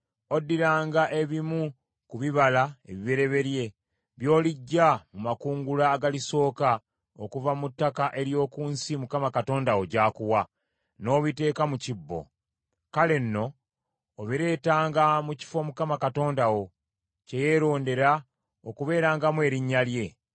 oddiranga ebimu ku bibala ebibereberye by’oliggya mu makungula agalisooka okuva mu ttaka ery’oku nsi Mukama Katonda wo gy’akuwa, n’obiteeka mu kibbo. Kale nno obireetanga mu kifo Mukama Katonda wo kye yeerondera okubeerangamu Erinnya lye.